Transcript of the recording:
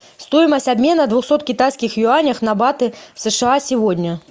стоимость обмена двухсот китайских юанях на баты в сша сегодня